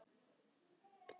inni mánuðum saman.